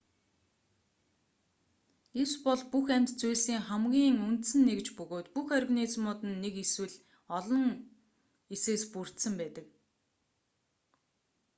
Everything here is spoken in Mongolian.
эс бол бүх амьд зүйлсийн хамгийн үндсэн нэгж бөгөөд бүх организмууд нь нэг эсвэл илүү олон эсээс бүрдсэн байдаг